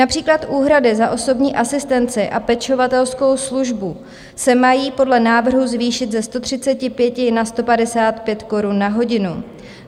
Například úhrady za osobní asistenci a pečovatelskou službu se mají podle návrhu zvýšit ze 135 na 155 korun na hodinu.